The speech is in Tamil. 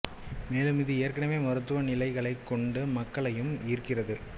மேலும் இது ஏற்கனவே மருத்துவ நிலைகளைக் கொண்ட மக்களையும் ஈர்க்கிறது